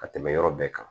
Ka tɛmɛ yɔrɔ bɛɛ kan